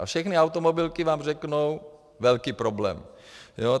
A všechny automobilky vám řeknou - velký problém.